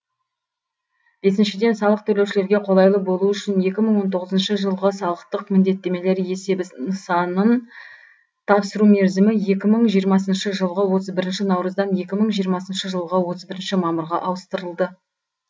бесіншіден салық төлеушілерге қолайлы болу үшін екі мың он тоғызыншы жылғы салықтық міндеттемелер есебі нысанын тапсыру мерзімі екі мың жиырмасыншы жылғы отыз бірінші наурыздан екі мың жиырмасыншы жылғы отыз бірінші мамырға ауыстырылды